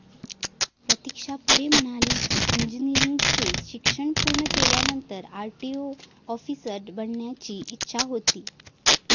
प्रतिक्षा पुढे म्हणाली कि, इंजिनिअरिंगचे शिक्षण पूर्ण केल्यानंतर मला आरटीओ ऑफिसर बनण्याची इच्छा होती.